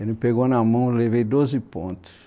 Ele me pegou na mão, eu levei doze pontos.